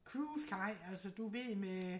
Cruise kaj altså du ved med øh